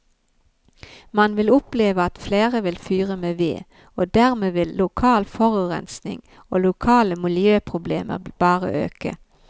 Man vil oppleve at flere vil fyre med ved, og dermed vil lokal forurensning og lokale miljøproblemer bare øke.